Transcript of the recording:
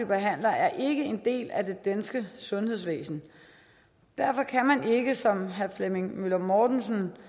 behandlere er ikke en del af det danske sundhedsvæsen derfor kan man ikke som herre flemming møller mortensen